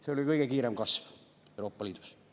See oli kõige kiirem kasv Euroopa Liidus.